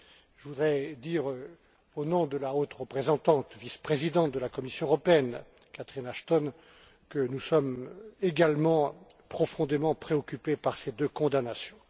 Je voudrais dire, au nom de la haute représentante vice présidente de la Commission européenne, Catherine Asthon, que nous sommes également profondément préoccupés par ces deux condamnations.